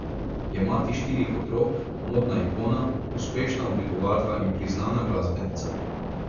Je mati štirih otrok, modna ikona, uspešna oblikovalka in priznana glasbenica.